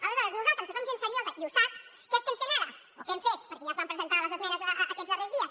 aleshores nosaltres que som gent seriosa i ho sap què estem fent ara o què hem fet perquè ja es van presentar les esmenes aquests darrers dies